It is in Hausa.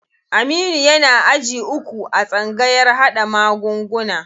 Aminu yana aji uku a tsangayar haɗa magunguna.